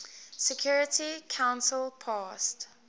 security council passed